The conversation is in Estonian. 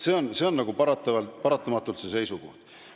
See on paratamatult see seisukoht.